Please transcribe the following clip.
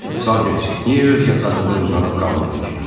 Salters, niyə öz yatağında uzanıb qalmırdın ki?